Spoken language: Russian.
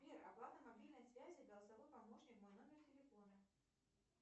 сбер оплата мобильной связи голосовой помощник мой номер телефона